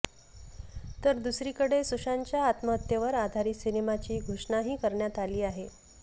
तर दुसरीकडे सुशांतच्या आत्महत्येवर आधारित सिनेमाची घोषणाही करण्यात आली आहे